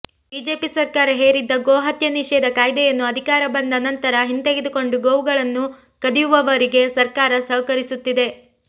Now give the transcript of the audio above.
BJP ಸರ್ಕಾರ ಹೇರಿದ್ದ ಗೋ ಹತ್ಯೆ ನಿಷೇಧ ಕಾಯ್ದೆಯನ್ನು ಅಧಿಕಾರ ಬಂದ ನಂತರ ಹಿಂತೆಗೆದುಕೊಂಡು ಗೋವುಗಳನ್ನು ಕದಿಯುವವರಿಗೆ ಸರ್ಕಾರ ಸಹಕರಿಸುತ್ತಿದೆ